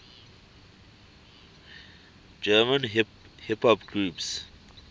german hip hop groups